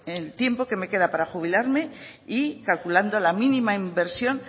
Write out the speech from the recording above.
en tiempo que me queda para jubilarme y calculando la mínima inversión